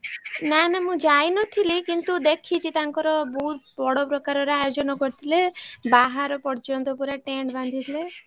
ନା ନା ମୁ ଯାଇନଥିଲି କିନ୍ତୁ ଦେଖିଛି ତାଙ୍କର ବହୁତ ବଡ ପ୍ରକାର ର ଆୟୋଜନ କରିଥିଲେ ବାହାର ପର୍ଯ୍ୟନ୍ତ ପୁରା tent ବାନ୍ଧିଥିଲେ।